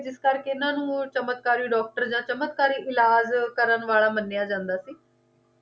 ਜਿਸ ਕਰਕੇ ਇਨ੍ਹਾਂ ਨੂੰ ਚਮਤਕਾਰੀ ਡਾਕਟਰ ਜਾ ਚਮਤਕਾਰੀ ਇਲਾਜ਼ ਕਰਨ ਵਾਲਾ ਮੰਨਿਆ ਜਾਂਦਾ ਸੀ?